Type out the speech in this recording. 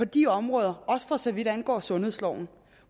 de områder også for så vidt angår sundhedsloven